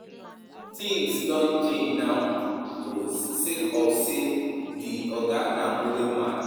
Tins don change now o sake of say di oga na modern man.